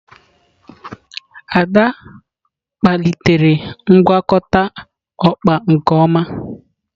Ada kpalitere ngwakọta okpa nke ọma.